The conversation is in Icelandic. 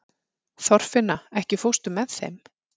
Þorfinna, ekki fórstu með þeim?